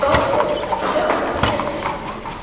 Þorbjörg, slökktu á niðurteljaranum.